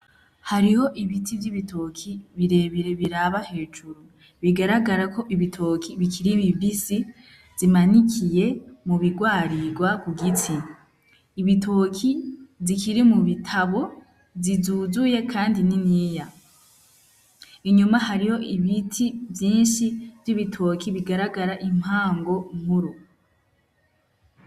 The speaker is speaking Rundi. Hariho ibiti vy'ibitoki birebire biraba hejuru bigaragara ko ibitoki bikiri bibisi zimanikiye mubirwarirwa kugitsi ibitoki zikiri mubitabo zizuzuye kandi niniya inyuma hariyo ibiti vyinshi vyibitoki bigaragara impango nkuru